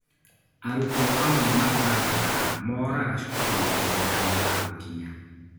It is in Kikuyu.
Arutwo amwe matanganaga moraga cukuru mbere ya mathaa gũkinya